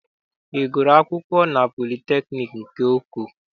Ị gụrụ akwụkwọ na politekniik nke Oko?